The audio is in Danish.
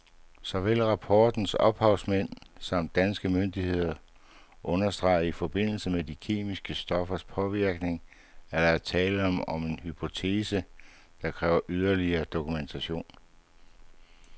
Såvel rapportens ophavsmænd samt danske myndigheder understreger i forbindelse med de kemiske stoffers påvirkning, at der er tale om en hypotese, der kræver yderligere dokumentation.